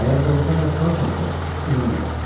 Əgər doğurdan da kralsansa, inanıram.